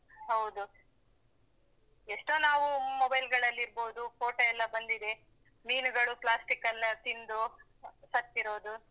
ಹೌದು. ಎಷ್ಟೋ ನಾವು mobile ಗಳಲ್ಲಿ ಇರ್ಬೋದು, photo ಎಲ್ಲ ಬಂದಿದೆ. ಮೀನುಗಳು plastic ಎಲ್ಲಾ ತಿಂದು ಸತ್ತಿರೋದು.